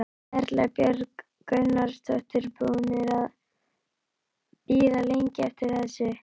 Erla Björg Gunnarsdóttir: Búnir að bíða lengi eftir þessu?